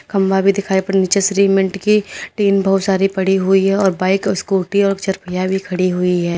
खंभा भी दिखाई पड़ नीचे श्रीमेंट की टीन बहुत सारी पड़ी हुई है और बाइक स्कूटी और चर पहिया भी खड़ी हुई है।